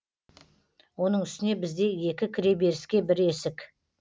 оның үстіне бізде екі кіреберіске бір есік